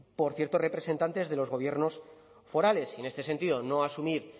por ciertos representantes de los gobiernos forales y en este sentido no asumir